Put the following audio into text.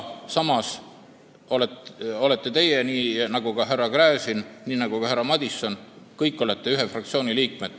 Samas olete teie kõik, nii nagu on härra Gräzin ja on ka härra Madison, fraktsiooni liikmed.